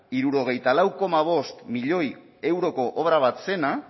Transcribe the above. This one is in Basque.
hirurogeita lau koma bost milioi euroko obra bat zena